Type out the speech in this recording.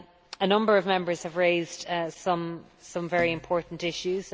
A number of Members have raised some very important issues.